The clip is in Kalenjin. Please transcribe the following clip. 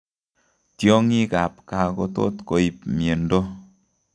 Tiong'ik ab kaa kotot koib miondoo